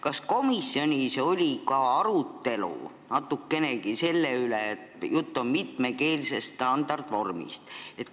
Kas komisjonis oli natukenegi arutelu mitmekeelse standardvormi üle?